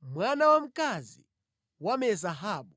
mwana wamkazi wa Me-Zahabu.